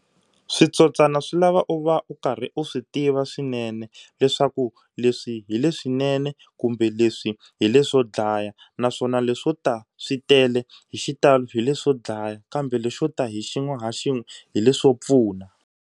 Switsotswana swi lava u va u karhi u swi tiva swinene leswaku leswi hi leswinene kumbe leswi hi leswo dlaya naswona leswo ta swi tele hi xitalo hi leswo dlaya kambe lexo ta hi xin'we ha xin'we hi leswo pfuna.